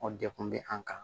O dekun bɛ an kan